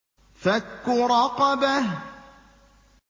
فَكُّ رَقَبَةٍ